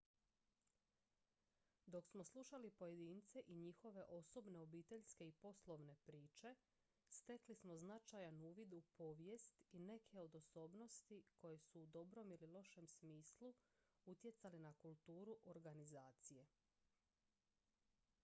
dok smo slušali pojedince i njihove osobne obiteljske i poslovne priče stekli smo značajan uvid u povijest i neke od osobnosti koje u dobrom ili lošem smislu utjecali na kulturu organizacije